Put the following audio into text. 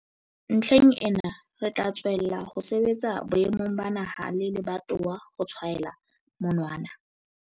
Ntlheng ena, re tla tswella ho sebetsa boemong ba naha le lebatowa ho tshwaela monwana